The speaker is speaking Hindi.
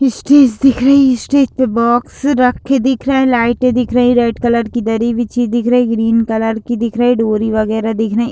स्टेज दिख रही स्टेज पे बॉक्स रखे दिख रहे लाइटें दिख रही रेड कलर की दरी बिछी दिख रही ग्रीन कलर की दिख रही डोरी वगैरह दिख रही।